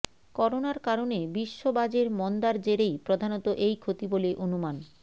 করোনার কারণে বিশ্ববাজের মন্দার জেরেই প্রধানত এই ক্ষতি বলে অনুমান